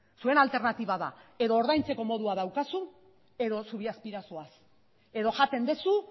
zuen alternatiba da edo ordaintzeko modua daukazu edo zubi azpira zoaz edo jaten duzu